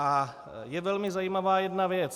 A je velmi zajímavá jedna věc.